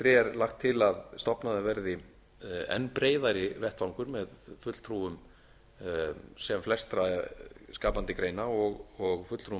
er lagt til að stofnaður verði enn breiðari vettvangur með fulltrúum sem flestra skapandi greina og fulltrúum